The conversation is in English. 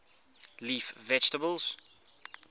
leaf vegetables